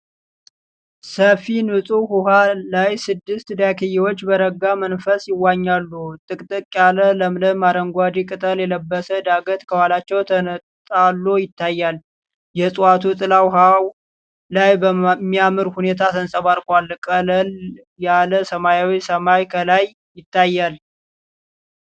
ሰፊ ንፁህ ውኃ ላይ ስድስት ዳክዬዎች በረጋ መንፈስ ይዋኛሉ። ጥቅጥቅ ያለ ለምለም አረንጓዴ ቅጠል የለበሰ ዳገት ከኋላቸው ተንጣሎ ይታያል። የዕፀዋቱ ጥላ ውኃው ላይ በሚያምር ሁኔታ ተንፀባርቋል። ቀለል ያለ ሰማያዊ ሰማይ ከላይ ይታይል።